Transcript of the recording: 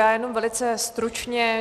Já jenom velice stručně.